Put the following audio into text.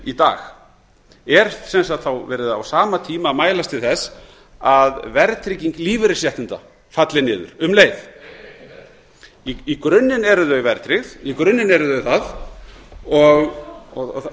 í dag er sem sagt á sama tíma verið að mælast til þess að verðtrygging lífeyrisréttinda falli niður um leið í grunninn eru þau verðtryggð í grunninn eru þau það